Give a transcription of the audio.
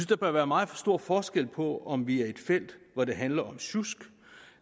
der bør være meget stor forskel på om vi er i det felt hvor det handler om sjusk